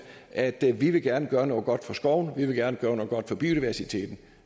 at vi gerne vil gøre noget godt for skovene at vi gerne vil gøre noget godt for biodiversiteten